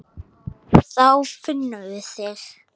Þá finnum við þig.